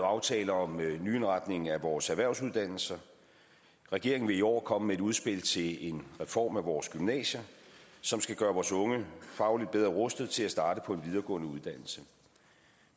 aftaler om en nyindretning af vores erhvervsuddannelser regeringen vil i år komme med et udspil til en reform af vores gymnasier som skal gøre vores unge fagligt bedre rustet til at starte på en videregående uddannelse